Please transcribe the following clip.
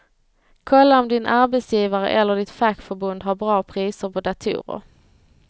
Kolla om din arbetsgivare eller ditt fackförbund har bra priser på datorer.